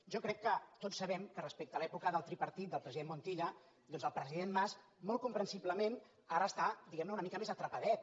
jo crec que tots sabem que respecte a l’època del tripartit del president montilla doncs el president mas molt comprensiblement ara està diguem ne una mica més atrapadet